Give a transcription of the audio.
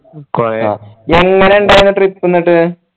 എങ്ങനെ ഇണ്ടായിരുന്ന് trip എന്നിട്ട്